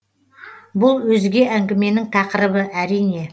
бұл өзге әңгіменің тақырыбы әрине